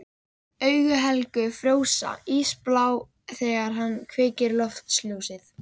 Augu Helga frjósa, ísblá þegar hann kveikir loftljósið.